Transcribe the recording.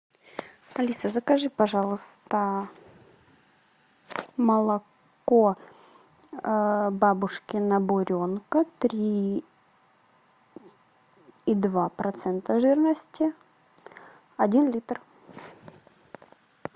алиса закажи пожалуйста молоко бабушкина буренка три и два процента жирности один литр